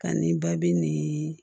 Ani babi nin